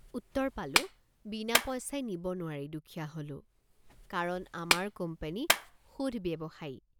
উত্তৰ পালোঁ বিনা পইচাই নিব নোৱাৰি দুখীত হলো কাৰণ আমাৰ কোম্পানী শুধ ব্যৱসায়ী।